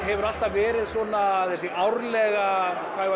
hefur alltaf verið svona þessi árlega